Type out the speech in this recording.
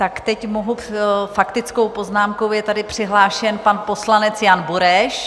Tak teď mohu - faktickou poznámkou je tady přihlášen pan poslanec Jan Bureš.